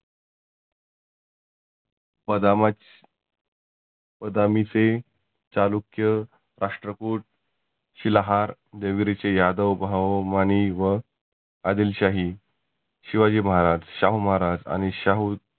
पदामाछ पदामीचे, चालुक्य, राष्ट्रकुट, शिलाहार, देवगिरीचे यादव भाव मानी व आदिल शाही, शिवाजी महाराज, शाहु महाराज आणि शाहु